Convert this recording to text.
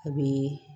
A bɛ